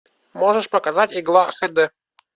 можешь показать игла хэ дэ